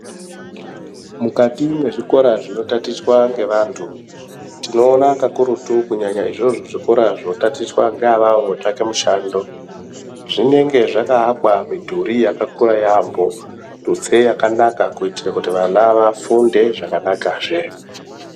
Mukati mezvikora zvinotatichwa ngeantu tinoona kakurutu kunyanaya izvozvo zvikora zvinotatichwa ngeavavo votsvake mishando zvinenge zvakawakwa mudhuri yakakura yambo tutse yakanaka kuitire kuti vana vafunde zvakanakazve.